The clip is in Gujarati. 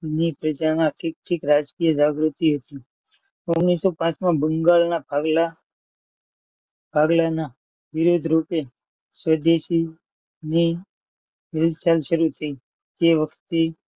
ની પ્રજાના હિતની રાજકીય જાગૃતિ ઓગણીસો પાંચમાં બંગાળના ભાગલા ભાગલાના વિરોધ રૂપે સ્વદેશી ની તે વખતે